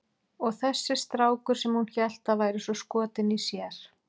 Og þessi strákur sem hún hélt að væri svo skotinn í sér!